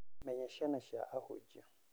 Menya ciana cia ahunjia.